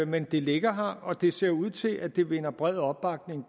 men det ligger her og det ser ud til at det vinder bred opbakning